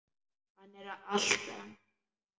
Hann er allt annar maður.